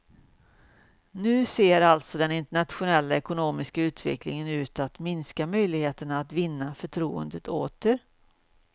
Nu ser alltså den internationella ekonomiska utvecklingen ut att minska möjligheterna att vinna förtroendet åter.